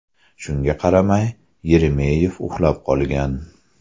Shunga qaramay, Yeremeyev uxlab qolgan.